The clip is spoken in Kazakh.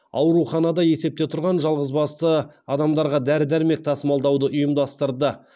ауруханада есепте тұрған жалғызбасты адамдарға дәрі дәрмек тасымалдауды ұйымдастырды